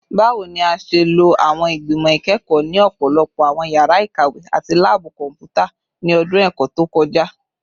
Bawo ni a ṣe lo awọn igbimọ ikẹkọ ni ọpọlọpọ awọn yara ikawe ati laabu kọnputa ni ọdun ẹkọ to kọja?